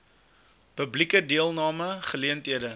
publieke deelname geleenthede